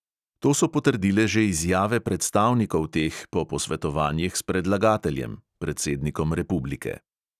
To so potrdile že izjave predstavnikov teh po posvetovanjih s predlagateljem (predsednikom republike).